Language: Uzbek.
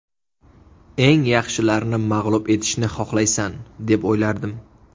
Eng yaxshilarni mag‘lub etishni xohlaysan deb o‘ylardim.